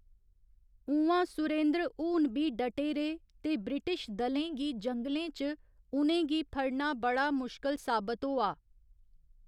उ'आं, सुरेंद्र हून बी डटे रेह् ते ब्रिटिश दलें गी जंगलें च उ'नें गी फड़ना बड़ा मुश्कल साबत होआ।